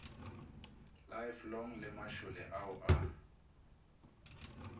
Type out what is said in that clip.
lifelong le mašole ao a